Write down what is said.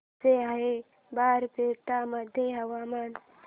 कसे आहे बारपेटा मध्ये हवामान